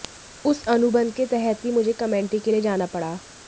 उस अनुबंध के तहत ही मुझे कमेंट्री के लिए जाना पड़ा